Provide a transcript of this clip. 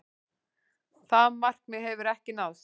Það markmið hefur ekki náðst.